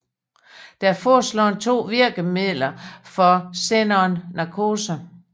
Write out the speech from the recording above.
Der er forslået to virkemiddeler for xenon narkose